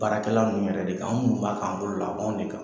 Baarakɛla ninnu yɛrɛ de k'anw munnu b'a k'an bolo la, a b'anw de kan.